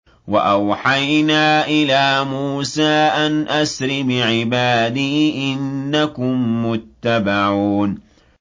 ۞ وَأَوْحَيْنَا إِلَىٰ مُوسَىٰ أَنْ أَسْرِ بِعِبَادِي إِنَّكُم مُّتَّبَعُونَ